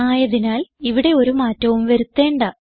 ആയതിനാൽ ഇവിടെ ഒരു മാറ്റവും വരുത്തേണ്ട